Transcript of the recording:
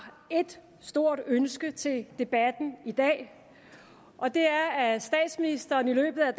et stort ønske til debatten i dag og det er at statsministeren i løbet af